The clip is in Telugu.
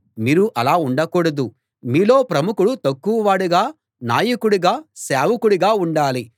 మీరు అలా ఉండకూడదు మీలో ప్రముఖుడు తక్కువవాడుగా నాయకుడు సేవకుడిలా ఉండాలి